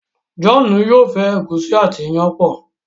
John yóò fẹ egusi àti iyán pọ